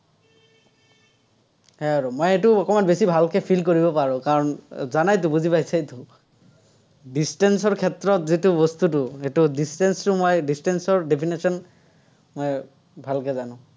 সেয়াই আৰু। মই এইটো অকণমান বেছি ভালকে feel কৰিব পাৰো, কাৰণ জানাইতো, বুজি পাইছাইতো। distance ৰ ক্ষেত্ৰত যিটো বস্তুটো সেইটো distance টো মই distance ৰ definition মই ভালকে জানো।